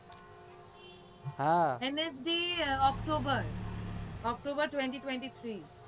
હા msdoctober twenty twenty three